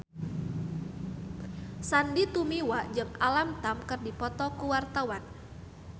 Sandy Tumiwa jeung Alam Tam keur dipoto ku wartawan